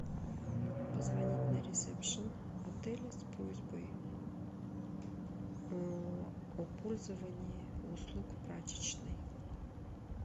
позвонить на ресепшн отеля с просьбой о пользовании услуг прачечной